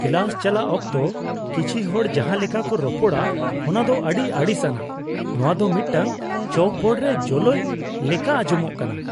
Class ᱪᱟᱞᱟᱜ ᱚᱠᱛᱚ ᱠᱤᱪᱷᱤ ᱦᱚᱲ ᱡᱟᱦᱟᱸ ᱞᱮᱠᱟ ᱠᱚ ᱨᱚᱯᱚᱲᱟ ᱚᱱᱟ ᱫᱚ ᱟᱹᱰᱤ ᱟᱹᱲᱤᱥ ᱟᱱᱟᱜ ; ᱱᱚᱶᱟ ᱫᱚ ᱢᱤᱫᱴᱟᱝ ᱪᱚᱠᱵᱳᱨᱰ ᱨᱮ ᱡᱳᱞᱳᱭ ᱞᱮᱠᱟ ᱟᱸᱡᱚᱢᱚᱜ ᱠᱟᱱᱟ ᱾